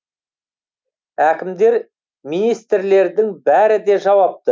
әкімдер министрлердің бәрі де жауапты